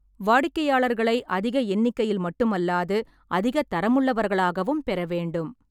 வாடிக்கையாளர்களை அதிக எண்ணிக்கையில் மட்டுமல்லாது அதிகத் தரமுள்ளவர்களாகவும் பெற வேண்டும்.